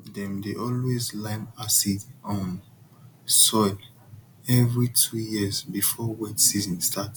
dem dey always lime acidic um soil every two year before wet season start